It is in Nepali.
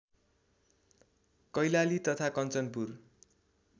कैलाली तथा कञ्चनपुर